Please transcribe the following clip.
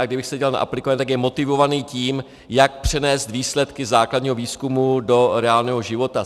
A kdybych se díval na aplikovaný, tak je motivovaný tím, jak přenést výsledky základního výzkumu do reálného života.